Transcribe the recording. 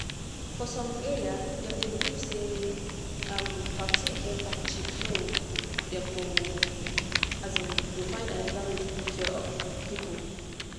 for some area dem dey believe say um vaccine get bad chip so dem go um dey find another way to take care of people.